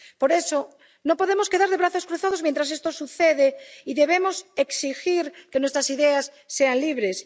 Por eso, no nos podemos quedar de brazos cruzados mientras esto sucede y debemos exigir que nuestras ideas sean libres.